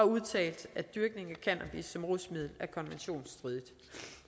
udtalt at dyrkning af cannabis som rusmiddel er konventionsstridigt